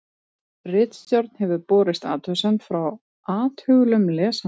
ritstjórn hefur borist athugasemd frá athugulum lesanda